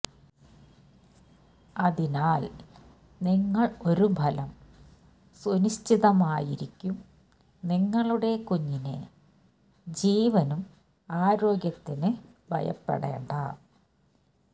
അതിനാൽ നിങ്ങൾ ഒരു ഫലം സുനിശ്ചിതമായിരിക്കും നിങ്ങളുടെ കുഞ്ഞിനെ ജീവനും ആരോഗ്യത്തിന് ഭയപ്പെടേണ്ടാ